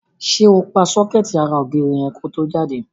Ṣé o pa sọ́kẹ́ẹ̀tì ara ògiri yẹn ko tó jáde?